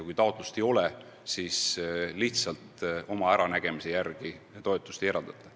Kui taotlust ei ole, siis lihtsalt oma äranägemise järgi toetust ei eraldata.